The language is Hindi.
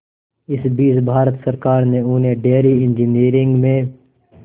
इस बीच भारत सरकार ने उन्हें डेयरी इंजीनियरिंग में